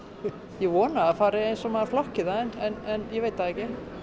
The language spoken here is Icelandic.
ég vona að það fari eins og maður flokkar það en ég veit það ekki